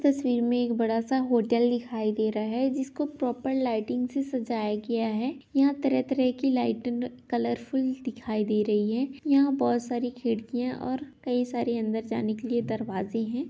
तस्वीर में एक बड़ा सा होटल दिखाई दे रहा है जिसको प्रॉपर लाइटिंग से सजाया गया है यहाँ तरह-तरह की लाइटिंग कलरफुल दिखाई दे रही हैं यहाँ पर बहोत सारी खिड़कियाँ और कई सारे अंदर जाने के लिए दरवाजे हैं।